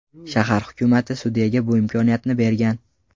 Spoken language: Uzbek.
Shahar hukumati sudyaga bu imkoniyatni bergan.